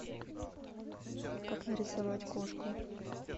как нарисовать кошку